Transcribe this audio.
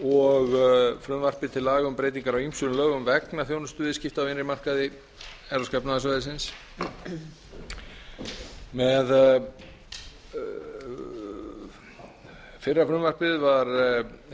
og frumvarpi til laga um breytingar á ýmsum lögum vegna þjónustuviðskipta á innri markaði evrópska efnahagssvæðisins fyrra frumvarpið var